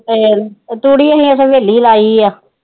ਤੂੜੀ ਅਸੀ ਹਵੇਲੀ ਚ ਲਾਈ ਆ